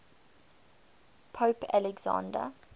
pope alexander